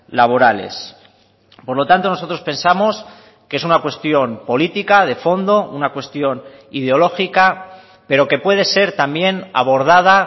laborales por lo tanto nosotros pensamos que es una cuestión política de fondo una cuestión ideológica pero que puede ser también abordada